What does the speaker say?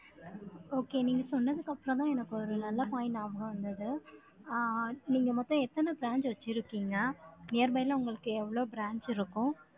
Okay, நீங்க சொன்னதுக்கு அப்புறம்தான், எனக்கு ஒரு நல்ல point ஞாபகம் வந்தது. ஆஹ் நீங்க மொத்தம் எத்தன branch வச்சிருக்கீங்க? Nearby ல உங்களுக்கு எவ்வளவு branch இருக்கும்?